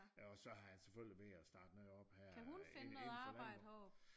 Og så har han selvfølgelig valgt at starte noget op her øh inden for øh